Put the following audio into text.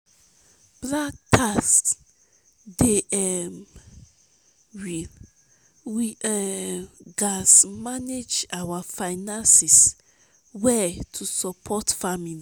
black tax dey um real; we um gats manage our finances well to support family.